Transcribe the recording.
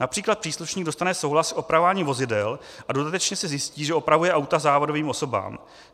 Například příslušník dostane souhlas s opravováním vozidel a dodatečně se zjistí, že opravuje auto závadovým osobám.